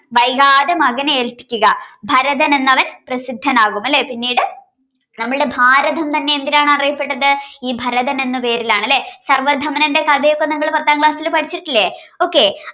വൈകാതെ മകനെ ഏൽപ്പിക്കുക ഭരതൻ എന്നവൻ പ്രസിദ്ധനാവും അല്ലെ പിന്നീട് നമ്മളുടെ ഭാരതം തന്നെ എന്തിലാണ് അറിയപ്പെട്ടത് ഈ ഭരതൻ എന്ന പേരിലാണല്ലേ സർവധമന്റെ കഥയൊക്കെ നിങ്ങൾ പത്താം class ൽ പഠിച്ചിട്ടില്ലേ okay